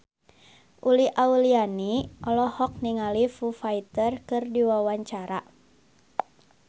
Uli Auliani olohok ningali Foo Fighter keur diwawancara